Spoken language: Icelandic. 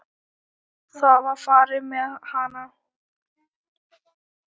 Það var farið með hana.